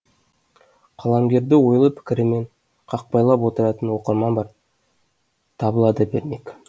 қаламгерді ойлы пікірімен қақпайлап отыратын оқырман бар табыла да бермек